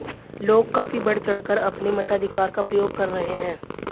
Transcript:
लोग काफी बढ़चढ़कर अपने मताधिकार का प्रयोग कर रहे हैं